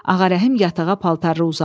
Ağarəhim yatağa paltarlı uzandı.